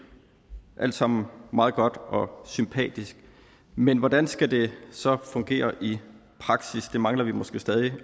alt sammen meget godt og sympatisk men hvordan skal det så fungere i praksis det mangler vi måske stadig